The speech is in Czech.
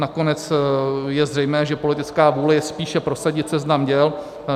Nakonec je zřejmé, že politická vůle je spíše prosadit seznam děl.